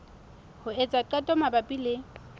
ho etsa qeto mabapi le